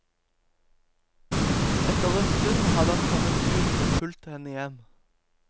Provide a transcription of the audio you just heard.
Etter en stund hadde han kommet ut og fulgt henne hjem.